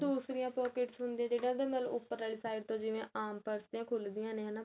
ਦੂਸਰਿਆਂ pockets ਹੁੰਦੀਆਂ ਜਿੰਨਾ ਦੇ ਉਪਰ ਵਾਲੀ side ਤੋਂ ਜਿਵੇਂ ਆਮ purse ਦੀਆਂ ਖੁਲਦੀਆਂ ਨੇ ਹਨਾ